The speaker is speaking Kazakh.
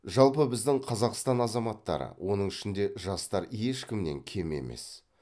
жалпы біздің қазақстан азаматтары оның ішінде жастар ешкімнен кем емес